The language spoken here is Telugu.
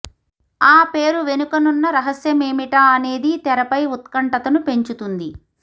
ఆ పేరు వెనుకనున్న రహస్యమేమిటా అనేది తెరపై ఉత్కంఠతను పెంచుతుంది